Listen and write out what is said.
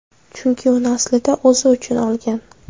Chunki uni aslida o‘zi uchun olgan.